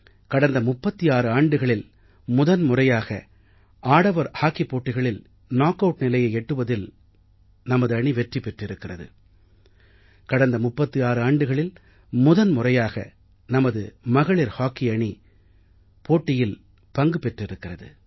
கடந்த 36 ஆண்டுகளில் முதன் முறையாக ஆடவர் ஹாக்கிப் போட்டிகளில் நாக் ஆட் நிலையை எட்டுவதில் வெற்றி பெற்றிருக்கிறார்கள்